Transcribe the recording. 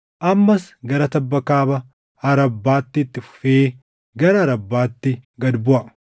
Ammas gara tabba kaaba Arabbaatti itti fufee gara Arabbaatti gad buʼa.